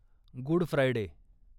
good Friday